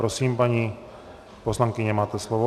Prosím, paní poslankyně, máte slovo.